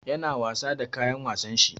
Yana wasa da kayan wasan shi.